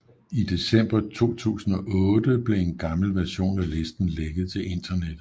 I december 2008 blev en gammel version af listen lækket til internettet